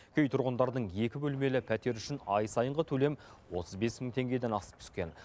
кей тұрғындардың екі бөлмелі пәтер үшін ай сайынғы төлем отыз бес мың теңгеден асып түскен